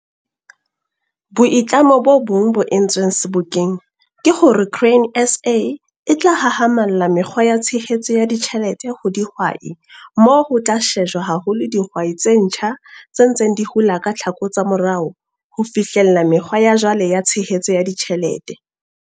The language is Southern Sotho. Boitlamo bo bong bo entsweng Sebokeng ke hore Grain SA e tla hahamalla mekgwa ya tshehetso ya ditjhelete ho dihwai moo ho tla shejwa haholo dihwai tse ntjha tse ntseng di hula ka tlhako tsa morao ho fihlella mekgwa ya jwale ya tshehetso ya ditjhelete.